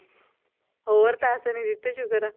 ਹੋਰ ਪੈਸੇ ਨੀ ਦਿੱਤੇ ਸ਼ੁਕਰ ਹੈ